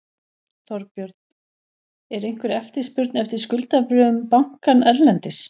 Þorbjörn: Er einhver eftirspurn eftir skuldabréfum bankans erlendis?